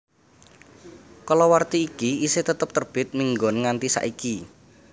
Kalawarti iki isih tetep terbit minggon nganti saiki